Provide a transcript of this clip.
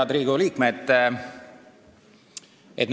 Head Riigikogu liikmed!